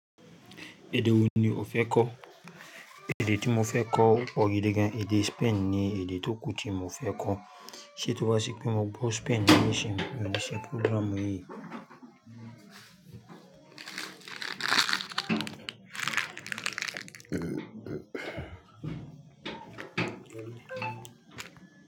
Èdè wo ni o fẹ́ kọ́? Èdè tí mo fẹ́ kọ́ opọ̀ gidi gan. Èdè Spain ni èdè tó kù tí mo fẹ́ kọ́. Sé tó bá ṣi pé mo gbọ́ Spain nísinsìnyí, mio ni se program yìí.